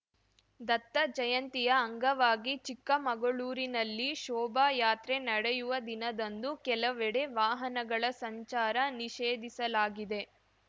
ದತ್ತಜಯಂತಿಯ ಅಂಗವಾಗಿ ಚಿಕ್ಕಮಗಳೂರಿನಲ್ಲಿ ಶೋಭಾಯಾತ್ರೆ ನಡೆಯುವ ದಿನದಂದು ಕೆಲವೆಡೆ ವಾಹನಗಳ ಸಂಚಾರ ನಿಷೇಧಿಸಲಾಗಿದೆ